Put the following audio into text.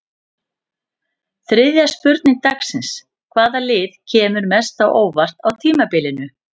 Þriðja spurning dagsins: Hvaða lið kemur mest á óvart á tímabilinu?